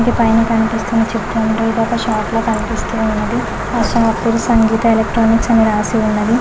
పైన కనిపిస్తున్న చిత్రంలో ఇది ఒక షాపులో కనిపిస్తూ ఉన్నది సంగీత ఎలక్ట్రానిక్స్ అని రాసి ఉన్నది.